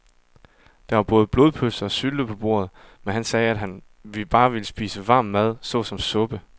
Der var både blodpølse og sylte på bordet, men han sagde, at han bare ville spise varm mad såsom suppe.